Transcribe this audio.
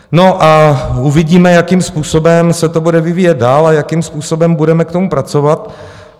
No a uvidíme, jakým způsobem se to bude vyvíjet dál a jakým způsobem budeme k tomu pracovat.